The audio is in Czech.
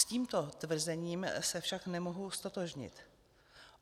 S tímto tvrzením se však nemohu ztotožnit.